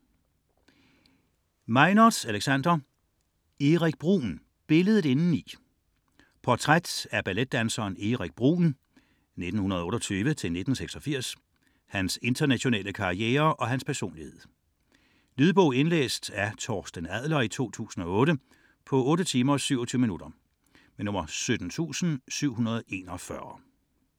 99.4 Bruhn, Erik Meinertz, Alexander: Erik Bruhn: billedet indeni Portræt af balletdanseren Erik Bruhn (1928-1986), hans internationale karriere og hans personlighed. Lydbog 17741 Indlæst af Torsten Adler, 2008. Spilletid: 8 timer, 27 minutter.